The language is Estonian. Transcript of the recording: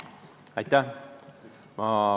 Aitäh!